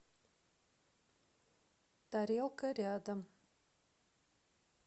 тарелка рядом